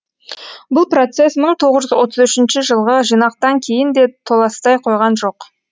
бұл процесс мың тоғыз жүз отыз үшінші жылғы жинақтан кейін де толастай қойған жоқ